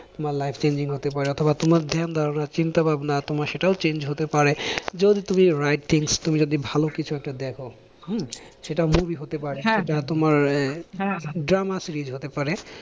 তোমার life changing হতে পারে অথবা তোমার ধ্যান ধারণা চিন্তা ভাবনা তোমার সেটাও change হতে পারে, যদি তুমি right things তুমি যদি ভালো কিছু একটা দেখো হম সেটা movie হতে পারে, সেটা তোমার drama series হতে পারে।